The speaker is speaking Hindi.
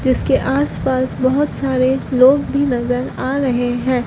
इसके आस पास बहोत सारे लोग भी नजर आ रहे हैं।